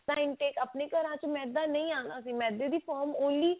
time ਤੇ ਆਪਣੇ ਘਰਾਂ ਚ ਮੈਦਾ ਨਹੀ ਆਉਂਦਾ ਸੀ ਮੈਦੇ ਦੀ only